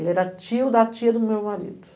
Ele era tio da tia do meu marido.